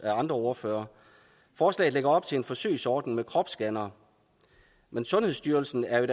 andre ordførere forslaget lægger op til en forsøgsordning med kropsscannere men sundhedsstyrelsen er i